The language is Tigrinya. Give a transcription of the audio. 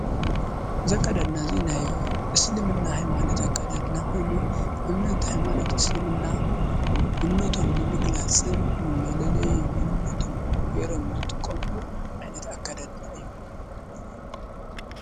ዘካዳድናእዙይ ናይ እስልምና ኃይማነት ኣካዳድና ሁይኑ እምነት ኃይማነት እስልምና እምነቶም ንምግላጽን ንመለለይ ሞንነቶም ጌይሮም ዝጥቆምሉ ኣይነት ኣካዳድና እዩ::